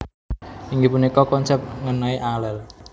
Inggih punika konsèp ngènai alel